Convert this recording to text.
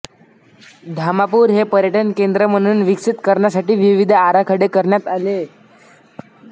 धामापूर हे पर्यटन केंद्र म्हणून विकसित करण्यासाठी विविध आराखडे करण्यात आले